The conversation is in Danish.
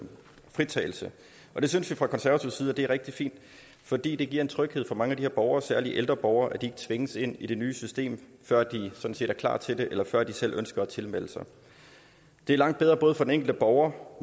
fritagelse det synes vi fra konservativ side er rigtig fint fordi det giver en tryghed for mange af de her borgere særlig de ældre borgere at de ikke tvinges ind i det nye system før de er klar til det eller før de selv ønsker at tilmelde sig det er langt bedre for den enkelte borger